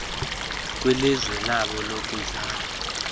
kwilizwe labo lokuzalwa